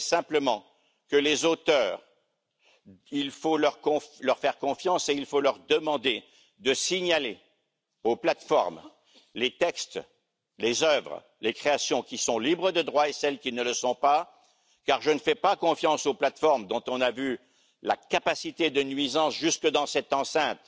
Je dirai simplement qu'il faut faire confiance aux auteurs et leur demander de signaler aux plateformes, les textes, les œuvres, les créations qui sont libres de droits, et ceux qui ne le sont pas, car je ne fais pas confiance aux plateformes dont on a vu la capacité de nuisance jusque dans cette enceinte